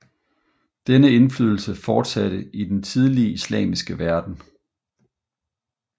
Denne indflydelse fortsatte i den tidlige islamiske verden